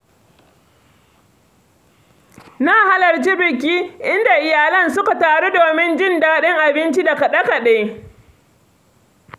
Na halarci biki inda iyalan suka taru domin jin daɗin abinci da kaɗe-kaɗe.